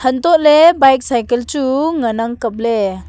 antoh ley bike cycle chu ngan ang kapley.